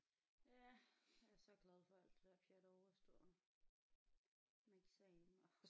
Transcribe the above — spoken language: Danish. Ja jeg er så glad for alt det der pjat er overstået med eksamener og